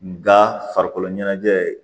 Nka farikolo ɲɛnajɛ ye